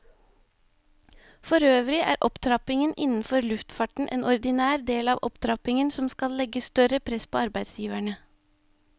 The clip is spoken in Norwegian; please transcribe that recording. Forøvrig er opptrappingen innenfor luftfarten en ordinær del av opptrappingen som skal legge større press på arbeidsgiverne.